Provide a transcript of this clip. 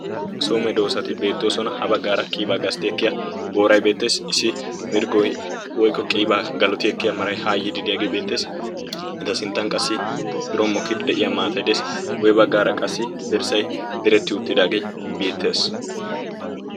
so medoosati beettoosona ha baggaara qiibaa gastti ekkiya booray beetteesi issi mirggoi woykko qiibaa galoti ekkiya maray ha yiidi deyaagii beetteesi meta sinttan qassi birommokiidi de'iya maatay desi guyye baggaara qassi derssay deretti uttidaagee beettees